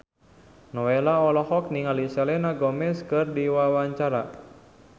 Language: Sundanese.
Nowela olohok ningali Selena Gomez keur diwawancara